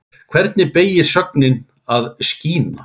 Hvernig beygist sögnin að skína?